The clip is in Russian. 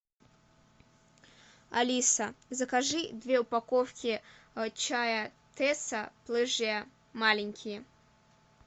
алиса закажи две упаковки чая тесса плежа маленькие